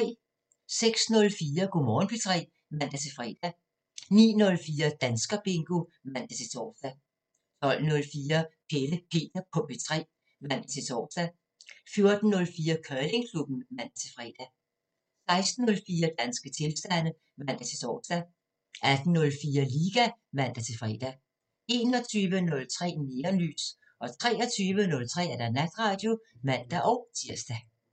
06:04: Go' Morgen P3 (man-fre) 09:04: Danskerbingo (man-tor) 12:04: Pelle Peter på P3 (man-tor) 14:04: Curlingklubben (man-fre) 16:04: Danske tilstande (man-tor) 18:04: Liga (man-fre) 21:03: Neonlys 23:03: Natradio (man-tir)